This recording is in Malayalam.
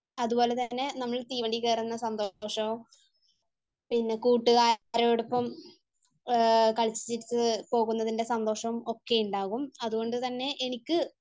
അതുപോലെ തന്നെ നമ്മൾ തീവണ്ടിയിൽ കയറുന്ന സന്തോഷം, പിന്നെ കൂട്ടുകാരോടൊപ്പം കളിച്ചു ചിരിച്ചു പോകുന്നതിന്റെ സന്തോഷം ഒക്കെയുണ്ടാവും. അതുകൊണ്ട് തന്നെ എനിക്ക്